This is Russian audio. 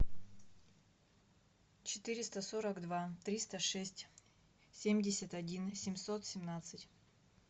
четыреста сорок два триста шесть семьдесят один семьсот семнадцать